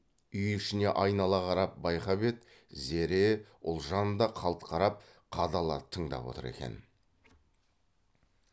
үй ішіне айнала қарап байқап еді зере ұлжан да қалт қарап қадала тыңдап отыр екен